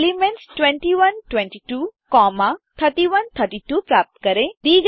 elements 21 22 comma 31 32 प्राप्त करें